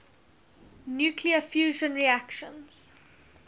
nuclear fusion reactions